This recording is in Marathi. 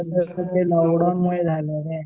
लॉकडाऊनमुळे झालं रे.